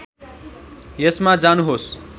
यसमा जानुहोस्